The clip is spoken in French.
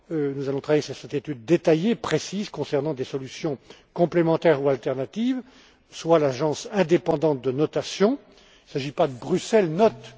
Nous allons travailler sur cette étude détaillée, précise, concernant des solutions complémentaires ou alternatives, soit une agence indépendante de notation il ne s'agit pas que Bruxelles note